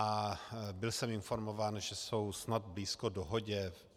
A byl jsem informován, že jsou snad blízko dohodě.